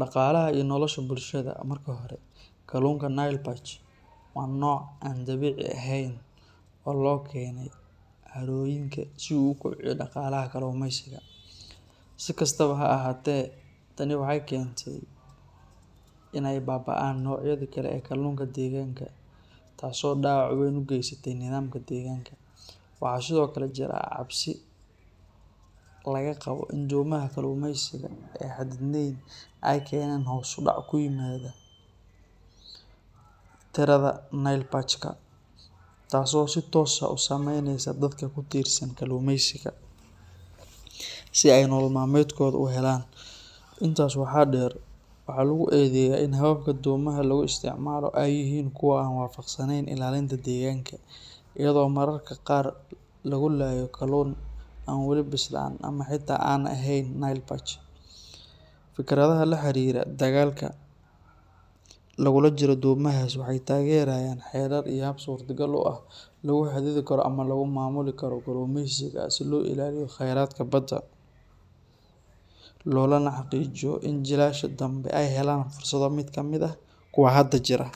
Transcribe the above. dhaqaalaha iyo nolosha bulshada. Marka hore, kalluunka Nile Perch waa nooc aan dabiici ahayn oo loo keenay harooyinka si uu u kobciyo dhaqaalaha kalluumeysiga. Si kastaba ha ahaatee, tani waxay keentay in ay baaba’aan noocyadii kale ee kalluunka deegaanka, taasoo dhaawac weyn u geysatay nidaamka deegaanka. Waxaa sidoo kale jira cabsi laga qabo in domaha kalluumeysiga ee aan xadidneyn ay keenaan hoos u dhac ku yimaada tirada Nile Perch-ka, taasoo si toos ah u saameyneysa dadka ku tiirsan kalluumeysiga si ay nolol maalmeedkooda u helaan. Intaas waxaa dheer, waxaa lagu eedeeyaa in hababka domaha lagu isticmaalo ay yihiin kuwo aan waafaqsanayn ilaalinta deegaanka, iyadoo mararka qaar lagu laayo kalluun aan weli bislaan ama xitaa aan ahayn Nile Perch. Fikradaha la xiriira dagaalka lagula jiro domahaas waxay taageerayaan xeerar iyo habab suurtagal ah oo lagu xadidi karo ama lagu maamuli karo kalluumeysiga si loo ilaaliyo khayraadka badda, loona xaqiijiyo in jiilasha dambe ay helaan fursado la mid ah kuwa hadda jira.